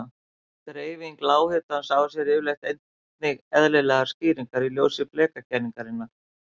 Dreifing lághitans á sér yfirleitt einnig eðlilegar skýringar í ljósi flekakenningarinnar.